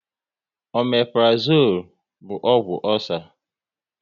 Ọmeprazole bụ ọgwụ ọcer